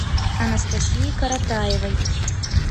анастасии коротаевой